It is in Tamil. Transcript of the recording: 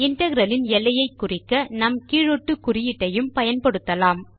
இன்டெக்ரல் இன் எல்லையை குறிக்க நாம் கீழ் ஒட்டு குறியீட்டையும் பயன்படுத்தலாம்